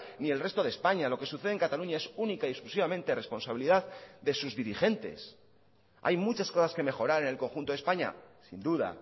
ni el resto de españa lo que sucede en cataluña es única y exclusivamente responsabilidad de sus dirigentes hay muchas cosas que mejorar en el conjuntode españa sin duda